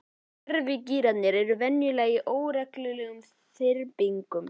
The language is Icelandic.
Gervigígarnir eru venjulega í óreglulegum þyrpingum.